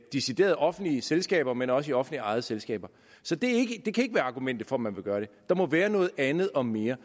decideret offentlige selskaber men også i offentligt ejede selskaber så det kan ikke være argumentet for at man vil gøre det der må være andet og mere